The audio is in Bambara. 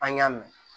An y'a mɛn